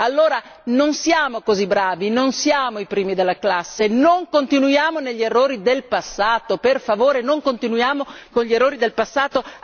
Allora non siamo così bravi, non siamo i primi della classe, non continuiamo negli errori del passato per favore, non continuiamo con gli errori del passato.